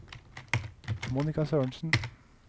Monika Sørensen